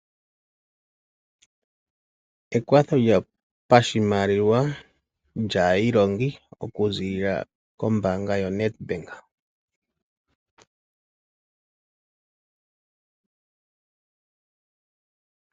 Ekwatho lyopashimaliwa lyaayilongi okuziilila kombaanga yaNedbank.